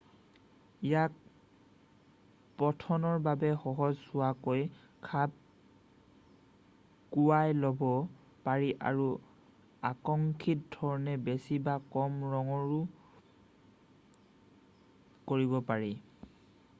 ইয়াক পঠনৰ বাবে সহজ হোৱাকৈ খাপ কুৱাই ল'ব পাৰি আৰু আকাংক্ষিত ধৰণে বেছি বা কম ৰঙৰো কৰিব পাৰি